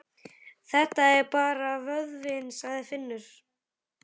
Þetta er bara vöðvinn, sagði Finnur.